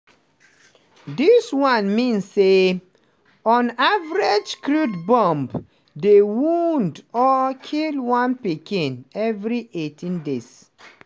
dis one mean say on average crude bomb dey wound or kill one pikin every 18 days.